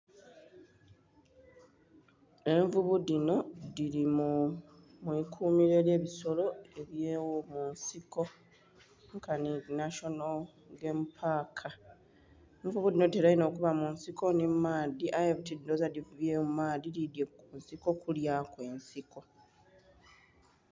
Envuvu dhinho dhili mu'kumiro lya dho elye bisolo nkanhi (national game Park) envuvu dhinho dhitela inho okuba munsiko nhi mu maadhi aye buti ndhoghoza dhivire mu maadhi dhidhye ku nsiko kulya nsiko.